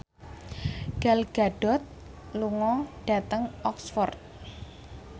Gal Gadot lunga dhateng Oxford